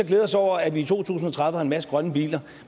glæde os over at vi i to tusind og tredive har en masse grønne biler